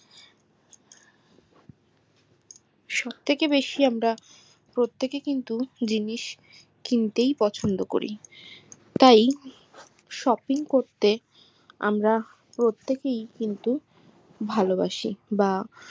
সব থেকে বেশি আমরা প্রতেক্যেই কিন্তু জিনিস কিনতেই পছন্দ করি তাই shopping করতে আমরা প্রত্যেকেই কিন্তু ভালোবাসি বা